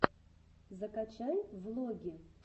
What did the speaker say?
закачай влоги